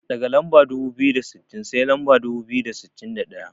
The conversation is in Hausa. Daga lamba dubu biyu da sittin, sai lamba dubu biyu da sittin da ɗaya.